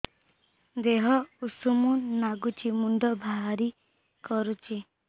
ଦିହ ଉଷୁମ ନାଗୁଚି ମୁଣ୍ଡ ଭାରି କରୁଚି